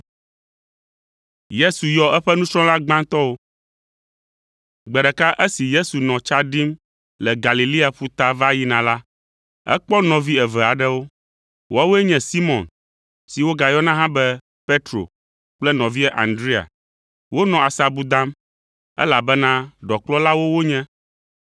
Gbe ɖeka esi Yesu nɔ tsa ɖim le Galilea ƒuta va yina la, ekpɔ nɔvi eve aɖewo. Woawoe nye Simɔn, si wogayɔna hã be Petro kple nɔvia Andrea. Wonɔ asabu dam, elabena ɖɔkplɔlawo wonye.